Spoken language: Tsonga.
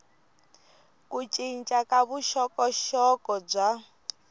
ku cinca ka vuxokoxoko bya